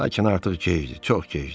Lakin artıq gecdir, çox gecdir.